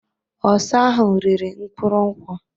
Osa ahụ riri mkpụrụ nkwu.